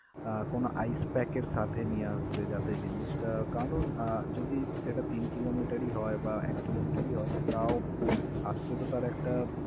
আহ কোনো icepack এর সাথে নিয়ে আসবে যাতে জিনিসটা কারণ আহ যদি সেটা তিন কিলোমিটারই হয় বা এক কিলোমিটারই হয়, তাও আসতে তো তার একটা.